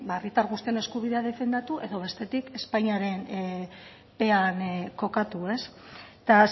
herritar guztien eskubideak defendatu edo bestetik espainiarenpean kokatu eta